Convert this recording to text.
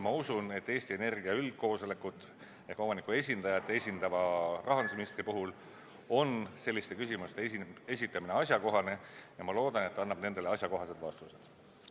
Ma usun, et Eesti Energia üldkoosolekut ehk omaniku esindajat esindavale rahandusministrile on asjakohane selliseid küsimusi esitada, ja ma loodan, et ta annab nendele asjalikud vastused.